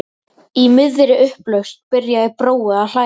Í miðri upplausn byrjar Brói að hlæja.